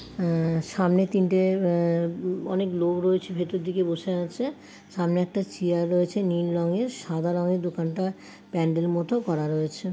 সামনে তিনটে অনেক লোক রয়েছে ভেতর দিকে বসে আছে। সামনে একটা চেয়ার রয়েছে নীল রঙের সাদা রঙের দোকানটা প্যান্ডেলের মতো করা রয়েছে।